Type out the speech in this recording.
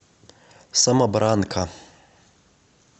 самобранка